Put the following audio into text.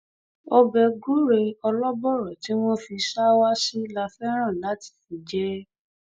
ọbẹ gùrẹ olóbòro tí wọn fi ṣàwá sí la fẹràn láti fi jẹ ẹ